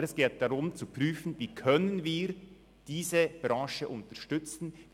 Aber es geht darum, zu prüfen, wie wir diese Branche unterstützen können.